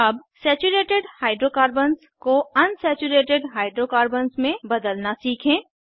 अब saturated hydrocarbons को unsaturated hydrocarbons में बदलना सीखें